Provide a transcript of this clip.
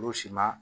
Olu si ma